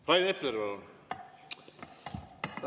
Rain Epler, palun!